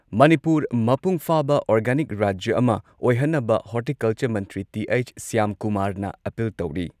ꯃꯅꯤꯄꯨꯔ, ꯃꯄꯨꯡ ꯐꯥꯕ ꯑꯣꯔꯒꯥꯅꯤꯛ ꯔꯥꯖ꯭ꯌ ꯑꯃ ꯑꯣꯏꯍꯟꯅꯕ ꯍꯣꯔꯇꯤꯀꯜꯆꯔ ꯃꯟꯇ꯭ꯔꯤ ꯇꯤ.ꯑꯩꯆ. ꯁ꯭ꯌꯥꯝꯀꯨꯃꯥꯔꯅ ꯑꯥꯄꯤꯜ ꯇꯧꯔꯤ ꯫